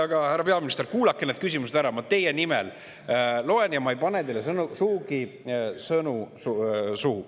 Aga härra peaminister, kuulake need küsimused ära, ma teie nimel loen ja ma ei pane teile sugugi sõnu suhu.